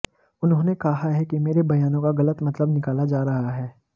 उन्होंने कहा है कि मेरे बयानों का गलत मतलब निकाला जा रहा है